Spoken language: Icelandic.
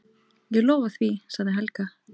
Ég lofa því, sagði Helga.